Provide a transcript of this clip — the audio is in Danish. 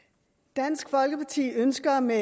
dansk folkeparti ønsker med